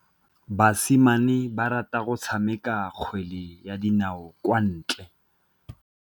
Basimane ba rata go tshameka kgwele ya dinaô kwa ntle.